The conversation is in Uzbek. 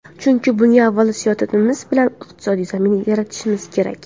Chunki bunga avval siyosatimiz bilan iqtisodiy zamin yaratishimiz kerak .